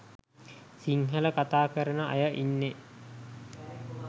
සිංහල කථා කරන අය ඉන්නෙ?